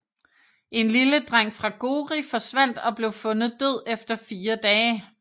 En lille dreng fra Gori forsvandt og blev fundet død efter fire dage